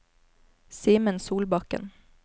Simen Solbakken